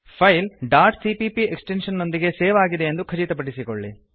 file dot CPP extension ನೊಂದಿಗೆ save ಆಗಿದೆಯೆಂದು ಖಚಿತಪಡಿಸಿಕೊಳ್ಳಿ